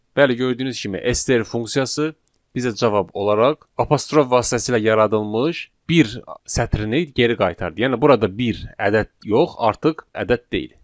Bəli, gördüyünüz kimi STR funksiyası bizə cavab olaraq apostrof vasitəsilə yaradılmış bir sətrini geri qaytardı, yəni burada bir ədəd yox, artıq ədəd deyil.